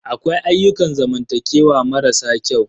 Akwai ayyukan zamantakewa mara sa kyau.